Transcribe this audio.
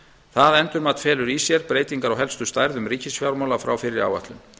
það endurmat felur í sér breytingar á helstu stærðum ríkisfjármála frá fyrri áætlun